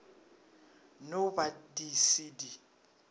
no ba di se di